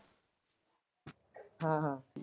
ਹਾਂ ਹਾਂ।